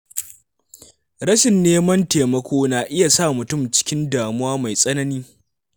Rashin neman taimako na iya sa mutum cikin damuwa mai tsanani.